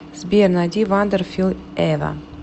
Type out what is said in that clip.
сбер найди вандер фил эва